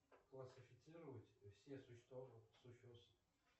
классифицировать все